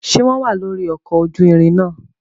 Ṣe wọn wà lóri ọkọ ojú ìrin náà?